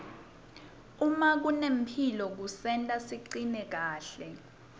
uma kunemphilo kusenta sicine kahle